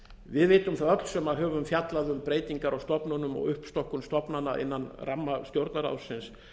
við vitum það öll sem höfum fjallað um breytingar á stofnunum og uppstokkun stofnana innan ramma stjórnarráðsins